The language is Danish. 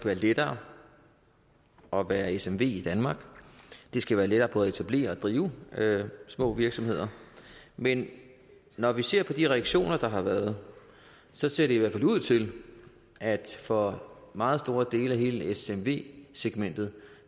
være lettere at være smv i danmark det skal være lettere både at etablere og drive små virksomheder men når vi ser på de reaktioner der har været så ser det i hvert fald ud til at for meget store dele af hele smv segmentet